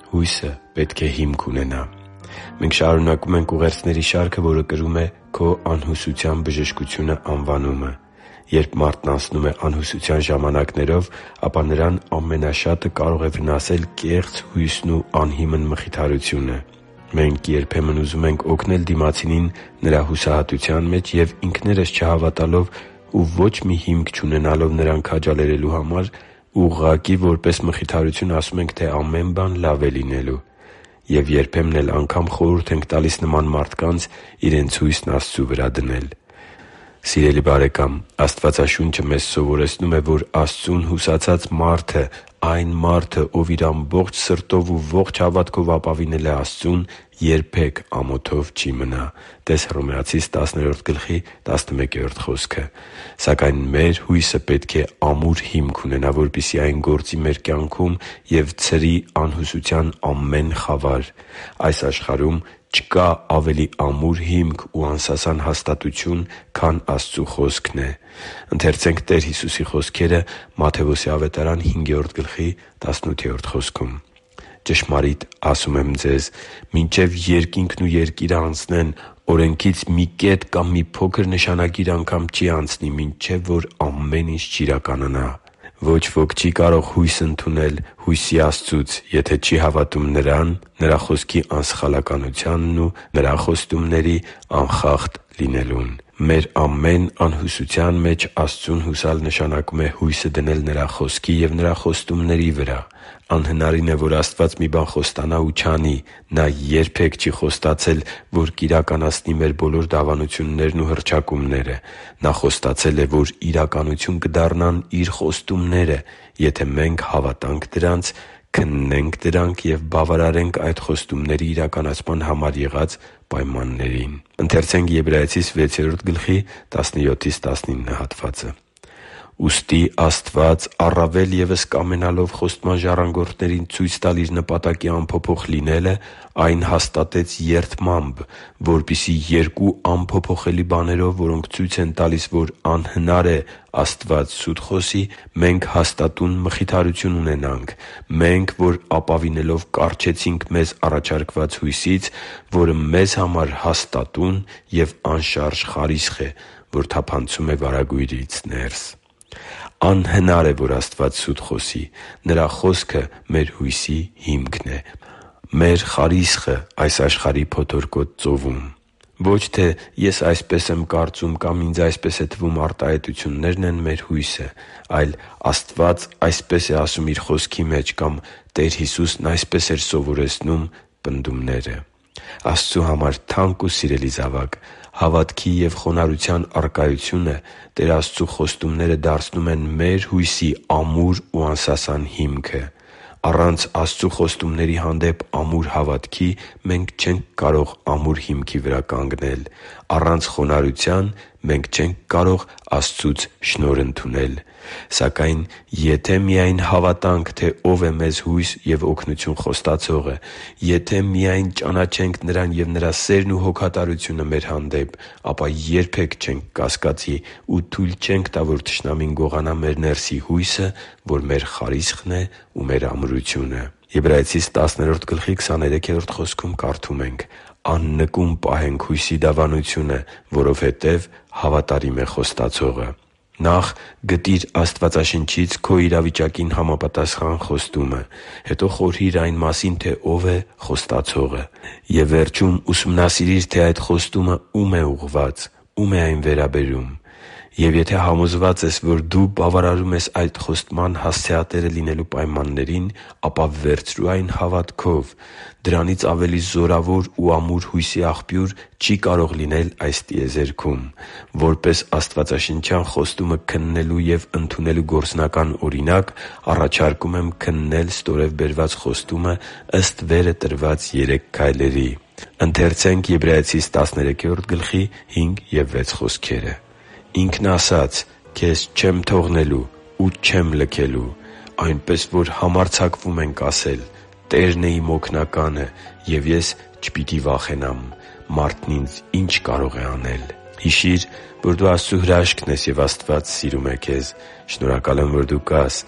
Հույսը պետք է հիմք ունենա Մենք շարունակում ենք ուղերձների շարքը, որը կրում է «Քո անհուսության բժշկությունը» անվանումը։ Երբ մարդն անցնում է անհուսության ժամանակներով, ապա նրան ամենաշատը կարող է վնասել կեղծ հույսն ու անհիմն մխիթարությունը։ Մենք երբեմն ուզում ենք օգնել դիմացինին նրա հուսահատության մեջ և, ինքներս չհավատալով ու ոչ մի հիմք չունենալով նրան քաջալերելու համար, ուղղակի որպես մխիթարություն, ասում ենք, թե ամեն բան լավ է լինելու։ Եվ երբեմն էլ անգամ խորհուրդ ենք տալիս նման մարդկանց իրենց հույսն Աստծու վրա դնել։ Սիրելի՛ բարեկամ, Աստվածաշունչը մեզ սովորեցնում է, որ Աստծուն հուսացած մարդը՝ այն մարդը, ով իր ամբողջ սրտով ու ողջ հավատքով ապավինել է Աստծուն, երբե՛ք ամոթով չի մնա (տե՛ս Հռոմեացիս 10.11 խոսքը)։ Սակայն մեր հույսը պետք է ամուր հիմք ունենա, որպեսզի այն գործի մեր կյանքում ու ցրի անհուսության ամեն խավար։ Այս աշխարհում չկա ավելի ամուր հիմք ու անսասան հաստատություն, քան Աստծու Խոսքն է։ «Ճշմարիտ եմ ասում ձեզ. մինչև երկինքն ու երկիրը անցնեն, օրենքից մի կետ կամ մի փոքր նշանագիր անգամ չի անցնի, մինչև որ ամեն ինչ չիրականանա» (Մատթեոս 5․18): Ոչ ոք չի կարող հույս ընդունել հույսի Աստծուց, եթե չի հավատում Նրան, Նրա Խոսքի անսխալականությանն ու Նրա խոստումների անխախտ լինելուն։ Մեր ամեն անհուսության մեջ Աստծուն հուսալ նշանակում է մեր հույսը դնել Նրա Խոսքի և Նրա խոստումների վրա։ Անհնարին է, որ Աստված մի բան խոստանա ու չանի։ Նա երբե՛ք չի խոստացել, որ կիրականացնի մեր բոլոր դավանություններն ու հռչակումները։ Նա խոստացել է, որ իրականություն կդառնան Իր խոստումները, եթե մենք հավատանք դրանց, քննենք դրանք և բավարարենք այդ խոստումների իրականացման համար եղած պայմաններին։ «Ուստի Աստված, առավել ևս կամենալով խոստման ժառանգորդներին ցույց տալ Իր նպատակի անփոփոխ լինելը, այն հաստատեց երդմամբ, որպեսզի երկու անփոփոխելի բաներով, որոնք ցույց են տալիս, որ անհնար է՝ Աստված սուտ խոսի, մենք հաստատուն մխիթարություն ունենանք. մենք, որ ապավինելով կառչեցինք մեզ առաջարկված հույսից, որը մեզ համար հաստատուն և անշարժ խարիսխ է, որ թափանցում է վարագույրից ներս․․․» (Եբրայեցիս 6․17-19): Անհնար է, որ Աստված սուտ խոսի։ Նրա Խոսքը մեր հույսի հիմքն է՝ մեր խարիսխը այս աշխարհի փոթորկոտ ծովում։ Ո՛չ թե «Ես այսպես եմ կարծում» կամ «Ինձ այսպես է թվում» արտահայտություններն են մեր հույսը, այլ՝ «Աստված այսպես է ասում Իր Խոսքի մեջ» կամ «Տեր Հիսուսն այսպես էր սովորեցնում» պնդումները։ Աստծու համար թանկ ու սիրելի՛ զավակ, հավատքի և խոնարհության առկայությունը Տեր Աստծու խոստումները դարձնում են մեր հույսի ամուր ու անսասան հիմքը։ Առանց Աստծու խոստումների հանդեպ ամուր հավատքի մենք չենք կարող ամուր հիմքի վրա կանգնել։ Առանց խոնարհության մենք չենք կարող Աստծուց շնորհ ընդունել։ Սակայն եթե միա՜յն հասկանանք, թե Ո՛վ է մեզ հույս և օգնություն Խոստացողը․․․ Եթե միա՜յն ճանաչենք Նրան և Նրա սերն ու հոգատարությունը մեր հանդեպ, ապա երբե՛ք չենք կասկածի ու թույլ չենք տա, որ թշնամին գողանա մեր ներսի հույսը, որ մեր խարիսխն է ու մեր ամրությունը։ «Աննկուն պահենք հույսի դավանությունը, որովհետև հավատարիմ է Խոստացողը» (Եբրայեցիս 10․23): Նախ գտի՛ր Աստվածաշնչից քո իրավիճակին համապատասխան խոստումը։ Հետո խորհի՛ր այն մասին, թե Ո՛վ է Խոստացողը։ Եվ վերջում ուսումնասիրի՛ր, թե այդ խոստումը ո՛ւմ է ուղղված՝ ո՞ւմ է այն վերաբերում։ Եվ եթե համոզված ես, որ դու բավարարում ես այդ խոստման հասցեատերը լինելու պայմաններին, ապա վերցրո՛ւ այն հավատքով։ Դրանից ավելի զորավոր ու ամուր հույսի աղբյուր չի կարող լինել այս տիեզերքում։ Որպես աստվածաշնչյան խոստումը քննելու և ընդունելու գործնական օրինակ՝ առաջարկում եմ քննել ստորև բերված խոստումը՝ ըստ վերը տրված երեք քայլերի։ «․․․Ինքն իսկ ասաց. «Քեզ չեմ թողնելու ու չեմ լքելու»։ Այնպես որ համարձակվում ենք ասել. «Տերն է իմ օգնականը, և ես չպիտի վախենամ. մարդն ինձ ի՞նչ կարող է անել» (Եբրայեցիս 13․5-6)։ Հիշի՛ր, որ դու Աստծո հրաշքն ես, և Աստված սիրում է քեզ։ Շնորհակալ եմ, որ դու կա՛ս